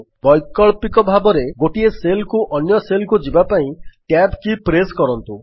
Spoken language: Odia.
ବୈକଳ୍ପିକ ଭାବରେ ଗୋଟିଏ ସେଲ୍ ରୁ ଅନ୍ୟ Cellକୁ ଯିବାପାଇଁ ଟ୍ୟାବ୍ କୀ ପ୍ରେସ୍ କରନ୍ତୁ